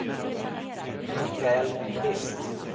Mikael Kvist